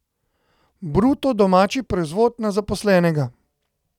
Bruto domači proizvod na zaposlenega.